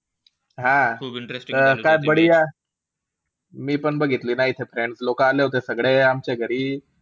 हा त काय . मीपण बघितली ना इथे, friends लोकं आले होते सगळे आमच्या घरी.